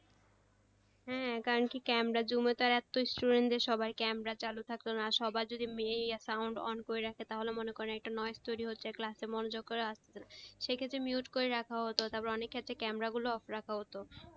হ্যাঁ কারনকি camera zoom এ তো এতো student দের সবার camera চালু থাকতো না সবার যদি ইয়ে আর sound on করে রাখে তাহলে মনে করেন একটা তৈরি হচ্ছে class এ সেক্ষেত্রে mute করে রাখা হতো তারপরে অনেকে আছে camera গুলো off রাখা হতো তো সেক্ষেত্রে,